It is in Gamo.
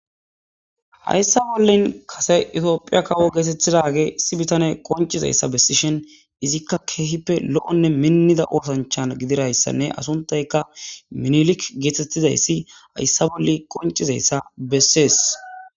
hayssa bollen kase itiyophiya kawo geetetidagey issi bitaney qoncizayssa bessishen izikka keehippe lo'onne minnida oosanchan gidirayssanne asuntayka minilik geetettizayssi hayssa bolli qoncizayssa bessees